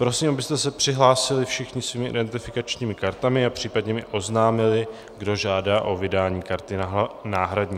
Prosím, abyste se přihlásili všichni svými identifikačními kartami a případně mi oznámili, kdo žádá o vydání karty náhradní.